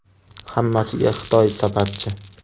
Hammasiga Xitoy sababchi.